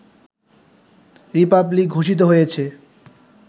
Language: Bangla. রিপাবলিক ঘোষিত হয়েছে